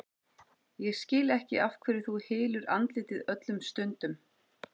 Ég skil ekki af hverju þú hylur andlitið öllum stundum.